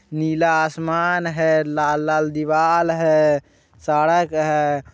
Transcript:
नीला आसमान है। लाल-लाल दीवाल है। सड़क है।